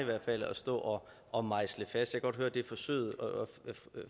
at stå og mejsle fast jeg kan godt høre at det er forsøget og